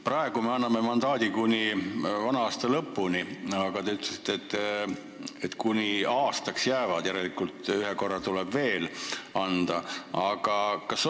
Praegu me anname mandaadi kuni selle aasta lõpuni, aga te ütlesite, et meie tegevväelased jäävad sinna kuni aastaks, järelikult ühe korra tuleb mandaat veel anda.